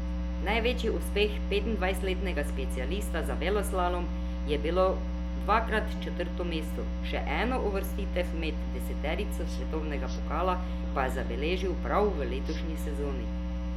Največji uspeh petindvajsetletnega specialista za veleslalom je bilo dvakrat četrto mesto, še eno uvrstitev med deseterico svetovnega pokala pa je zabeležil prav v letošnji sezoni.